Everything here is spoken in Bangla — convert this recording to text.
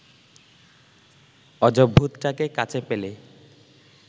অজভূতটাকে কাছে পেলে